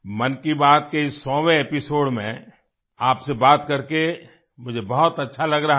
मन की बात के इस 100 वें एपिसोड में आपसे बात करके मुझे बहुत अच्छा लग रहा है